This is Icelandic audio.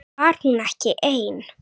Var hún ekki ein?